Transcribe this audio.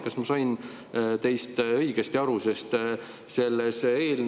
Kas ma sain teist õigesti aru?